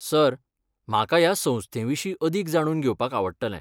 Sir, म्हाका ह्या संस्थे विशीं अदीक जाणून घेवपाक आवडटलें.